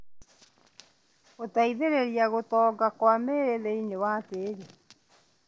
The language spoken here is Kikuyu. Gũteithĩrĩria gũtonga Kwa mĩri thĩinĩ wa tĩri